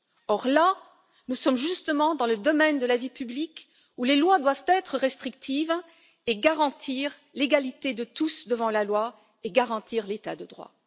Or, là, nous sommes justement dans le domaine de la vie publique, où les lois doivent être restrictives, garantir l'égalité de tous devant la loi et garantir l'état de droit.